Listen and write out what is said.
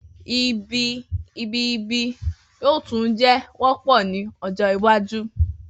Ibi ibi-ibi yoo tun jẹ wọpọ ni ojo iwaju